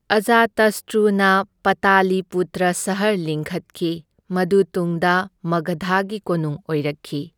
ꯑꯖꯥꯇꯁꯇ꯭ꯔꯨꯅ ꯄꯇꯥꯂꯤꯄꯨꯇ꯭ꯔ ꯁꯍꯔ ꯂꯤꯡꯈꯠꯈꯤ, ꯃꯗꯨ ꯇꯨꯡꯗ ꯃꯒꯙꯒꯤ ꯀꯣꯅꯨꯡ ꯑꯣꯏꯔꯛꯈꯤ꯫